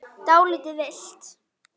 Dálítið villt!